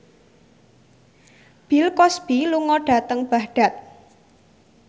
Bill Cosby lunga dhateng Baghdad